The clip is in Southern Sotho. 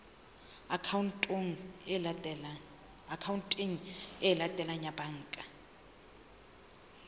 akhaonteng e latelang ya banka